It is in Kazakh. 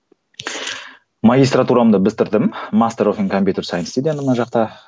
магистратурамды бітірдім мына жақта